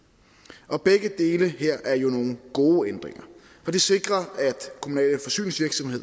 begge dele her er nogle gode ændringer for det sikrer